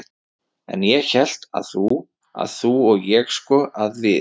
En ég hélt að þú. að þú og ég sko. að við